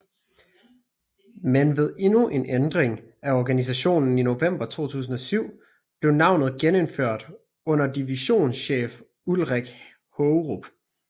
Men ved endnu en ændring af organisationen i november 2007 blev navnet genindført under divisionschef Ulrik Haagerup